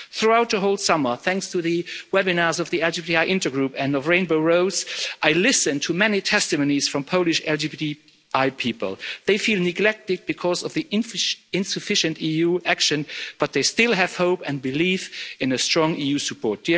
Throughout the whole summer, thanks to the webinars of the LGBTI Intergroup and of Rainbow Rose, I listened to many testimonies from Polish LGBTI people. They feel neglected because of the insufficient EU action, but they still have hope and believe in strong EU support.